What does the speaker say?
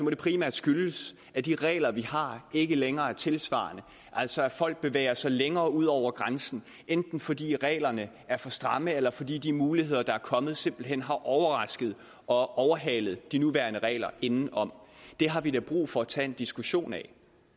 primært skyldes at de regler vi har ikke længere er tidssvarende altså at folk bevæger sig længere ud over grænsen enten fordi reglerne er for stramme eller fordi de muligheder der er kommet simpelt hen har overrasket og overhalet de nuværende regler indenom det har vi da brug for at tage en diskussion af